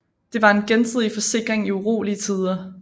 Det var en gensidig forsikring i urolige tider